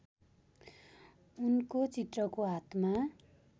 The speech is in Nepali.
उनको चित्रको हातमा